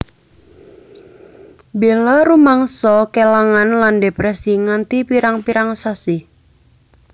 Bella rumangsa kelangan lan depresi nganti pirang pirang sasi